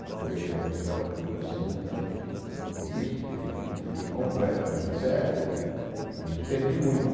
Quando eu perdi a visão da da segunda vista, fiquei completamente cego, evimente perdi muito.